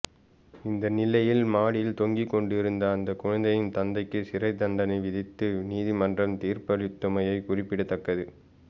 இந்தநிலையில் மாடியில் தொஙகிக் கொண்டிருந்த அந்தக் குழந்தையின் தந்தைக்கு சிறை தண்டனை விதித்து நீதிமன்றம் தீர்ப்பளித்துள்ளமை குறிப்பிடத்தக்கது